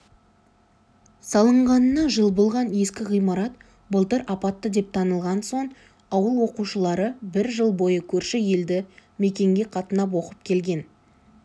салынғанына жыл болған ескі ғимарат былтыр апатты деп танылған соң ауыл оқушылары бір жыл бойы көрші елді мекенге қатынап оқып келген